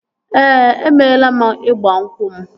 Ee, emeela m ịgba nkwụ m